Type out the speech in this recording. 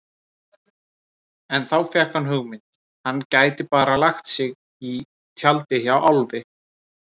En þá fékk hann hugmynd: Hann gæti bara lagt sig í tjaldið hjá Álfi.